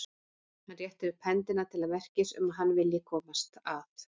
Hann réttir upp hendina til merkis um að hann vilji komast að.